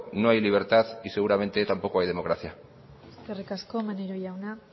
no hay libertad y seguramente tampoco hay democracia eskerrik asko maneiro jauna